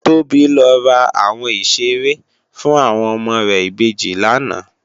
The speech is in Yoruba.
Tobi lò rá áwòn iṣéré fún áwòn òmò rè ibéjì làná